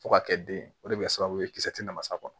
Fo ka kɛ den o de bɛ kɛ sababu ye kisɛ te na mas'a kɔnɔ